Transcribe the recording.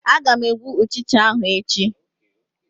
Aga m egbu Ụchịcha ahụ echi